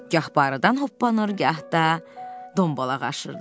Gah barıdan hoppanır, gah da dombalaq aşırırdı.